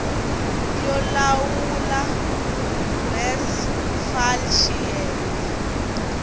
yo lawula res fal xiyenge